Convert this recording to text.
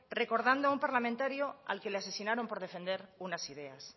recordando a un parlamentario que le asesinaron por defender unas ideas